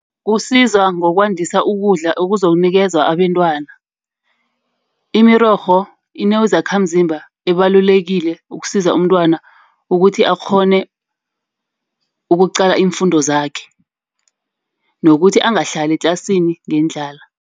Kusizwa ngokwadisa ukudla okuzokunikezwa abentwana. Imirorho inozakhamzimba ibalulekile ukusiza umntwana ukuthi akghone ukuqala iimfundo zakhe. Nokuthi angahlali etlasini ngendlala.